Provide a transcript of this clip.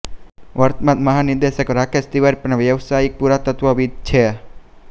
વર્તમાન મહાનિદેશક રાકેશ તિવારી પણ વ્યાવસાયિક પુરાતત્ત્વવિદ છે